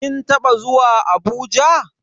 Kin taba zuwa Abuja?